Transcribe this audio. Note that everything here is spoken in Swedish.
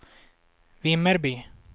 Vimmerby